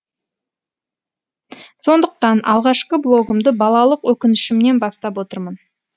сондықтан алғашқы блогымды балалық өкінішімнен бастап отырмын